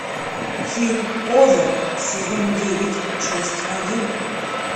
фильм озарк сезон девять часть один